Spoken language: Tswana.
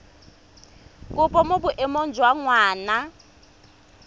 kopo mo boemong jwa ngwana